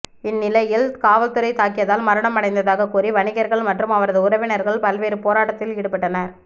இந்நிலையில் காவல்துறை தாக்கியதால் மரணம் அடைந்ததாக கூறி வணிகர்கள் மற்றும் அவரது உறவினர்கள் பல்வேறு போராட்டத்தில் ஈடுபட்டனர்